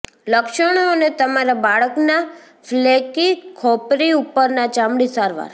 લક્ષણો અને તમારા બાળકના ફ્લેકી ખોપરી ઉપરની ચામડી સારવાર